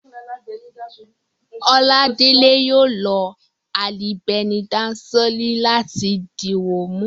Oládélé yóò lo alibẹnidasóòlì láti dìwọ́ọ̀mù